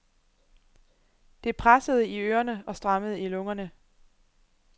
Det pressede i ørerne og strammede i lungerne.